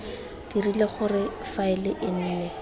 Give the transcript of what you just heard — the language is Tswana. dirile gore faele e nne